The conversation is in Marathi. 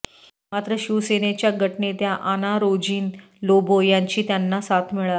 मात्र शिवसेनेच्या गटनेत्या आनारोजीन लोबो यांची त्यांना साथ मिळाली